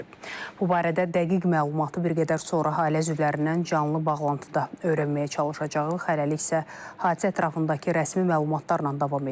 Bu barədə dəqiq məlumatı bir qədər sonra ailə üzvlərindən canlı bağlantıda öyrənməyə çalışacağıq, hələlik isə hadisə ətrafındakı rəsmi məlumatlarla davam edək.